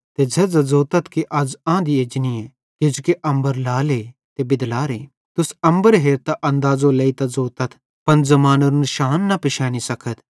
ते झ़ेझ़ां ज़ोतथ कि अज़ आँधी एजनीए किजोकि अम्बर लाले ते बिदलारे तुस अम्बर हेरतां अंदाज़ो लेइता ज़ोतथ पन ज़मानेरो निशान न पिशैनी सकथ